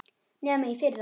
Nema í fyrra.